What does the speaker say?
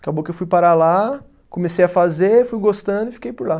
Acabou que eu fui parar lá, comecei a fazer, fui gostando e fiquei por lá.